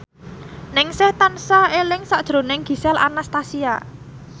Ningsih tansah eling sakjroning Gisel Anastasia